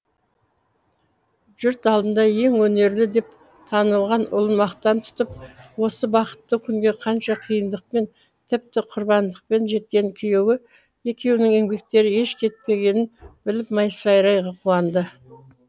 жұрт алдында ең өнерлі деп танылған ұлын мақтан тұтып осы бақытты күнге қанша қиындықпен тіпті құрбандықпен жеткен күйеуі екеуінің еңбектері еш кетпегенін біліп масайрай қуанды